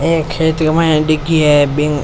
ए खेत के माय डिगी है बिन --